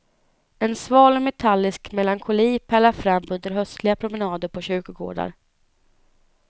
En sval och metallisk melankoli pärlar fram under höstliga promenader på kyrkogårdar.